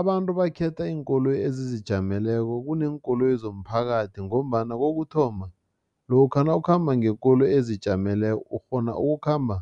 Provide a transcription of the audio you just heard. Abantu bakhetha iinkoloyi ezizijameleko kuneenkoloyi zomphakathi ngombana kokuthoma, lokha nawukhamba ngekoloyi ezijameleko ukghona ukukhamba